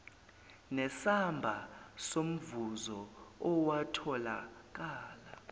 nesamba somvuzo owatholakala